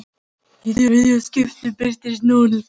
Í þriðja skiptið birtist núll.